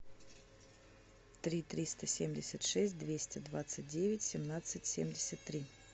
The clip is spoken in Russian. три триста семьдесят шесть двести двадцать девять семнадцать семьдесят три